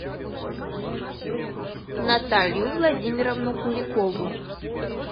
наталью владимировну куликову